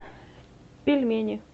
пельмени